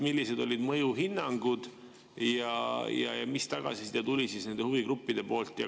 Millised olid mõjuhinnangud ja mis tagasiside tuli nendelt huvigruppidelt?